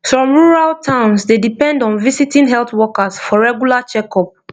some rural towns dey depend on visiting health workers for regular checkup